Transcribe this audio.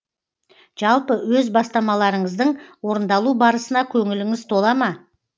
жалпы өз бастамаларыңыздың орындалу барысына көңіліңіз тола ма